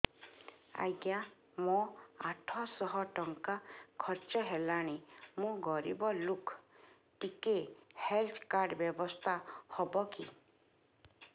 ଆଜ୍ଞା ମୋ ଆଠ ସହ ଟଙ୍କା ଖର୍ଚ୍ଚ ହେଲାଣି ମୁଁ ଗରିବ ଲୁକ ଟିକେ ହେଲ୍ଥ କାର୍ଡ ବ୍ୟବସ୍ଥା ହବ କି